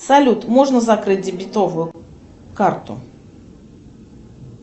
салют можно закрыть дебетовую карту